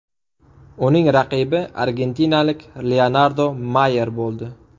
Uning raqibi argentinalik Leonardo Mayer bo‘ldi.